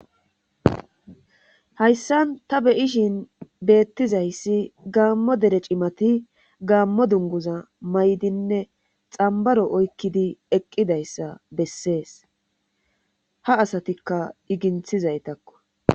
hayssan ta be'ishin beettizayssi gaammo dere cimati gaammo dunguza maydinne xambaro oykkidi eqqidayssa bessees ha asatikka iginthizaytakko